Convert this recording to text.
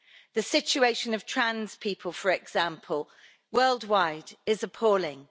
The situation of trans people, for example, worldwide, is appalling.